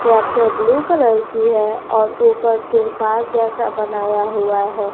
Tractor blue colour की हैं और ऊपर त्रिपाल जैसा बनाया हुआ हैं।